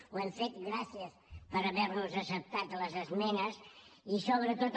ho hem fet gràcies per haver nos acceptat les esmenes i sobretot